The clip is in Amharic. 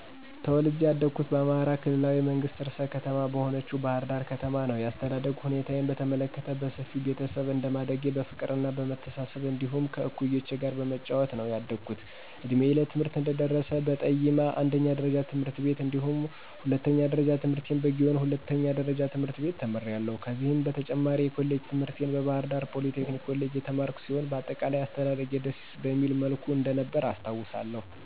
ተወልጀ ያደኩት በአማራ ክልላዊ መንግስት ርዕሰ ከተማ በሆነችው ባሕር ዳር ከተማ ነዉ። የአስተዳደግ ሁኔታዬን በተመለከት በሰፊ ቤተሰብ እንደማደጌ በፍቅርና በመተሳሰብ እንዲሁም ከእኩዮቼ ጋር በመጫወት ነዉ ያደኩት። እድሜዬ ለትምህርት እንደደረሰ በጠይማ አንደኛ ደረጃ ትምህርት ቤት እንዲሁም ሁለተኛ ደረጃ ትምህርቴን በጊዮን ሁለተኛ ደረጃ ትምህርት ቤት ተምሬያለሁ። ከዚህም በተጨማሪ የኮሌጅ ትምህርቴን በባህርዳር ፖሊቴክኒክ ኮሌጅ የተማርኩ ሲሆን በአጠቃላይ አስተዳደጌ ደስ በሚል መልኩ እንደነበረ አስታዉሳለሁ።